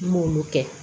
N m'olu kɛ